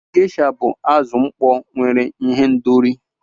Gesha bụ azụ mkpọ nwere ihendori.